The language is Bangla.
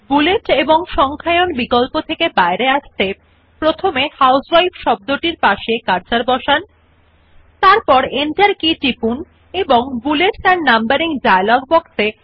in order to turn off the bullets and numbering option first place the cursor next to the word housewife and click on the Enter key first and then click on the numbering off option in the bullets and numbering dialog box